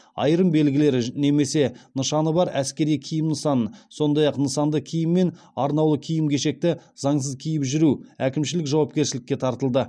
айырым белгілері немесе нышаны бар әскери киім нысанын сондай ақ нысанды киім мен арнаулы киім кешекті заңсыз киіп жүру әкімшілік жауапкершілікке тартылды